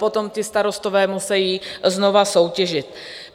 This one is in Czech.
Potom ti starostové musí znovu soutěžit.